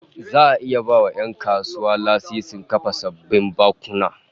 Za'a iya ba 'yan kasuwa lasisin kafa sabbin bankuna